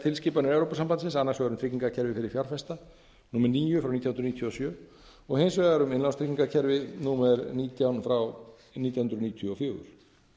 tilskipanir evrópusambandsins annars vegar um tryggingakerfi fyrir fjárfesta númer níu nítján hundruð níutíu og sjö og hins vegar um innlánatryggingakerfi númer nítján nítján hundruð níutíu og fjögur